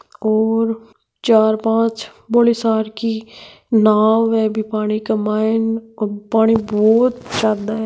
और चार पांच बोली सार की नाव है बि पानी के माईन पानी बहुत ज्यादा है।